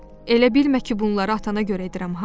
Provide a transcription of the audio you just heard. Elə bilmə ki bunlara atana görə edirəm ha.